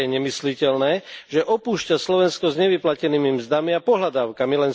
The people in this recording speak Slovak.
Ale je nemysliteľné, že opúšťa Slovensko s nevyplatenými mzdami a pohľadávkami.